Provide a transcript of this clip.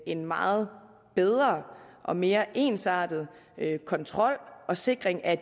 en meget bedre og mere ensartet kontrol og sikring af